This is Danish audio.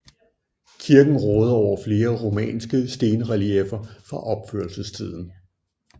Kirken råder over flere romanske stenrelieffer fra opførelsestiden